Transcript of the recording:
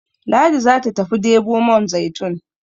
Ladi za ta tafi debo man zaitun